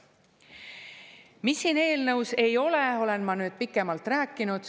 mida siin eelnõus ei ole, olen ma nüüd pikemalt rääkinud.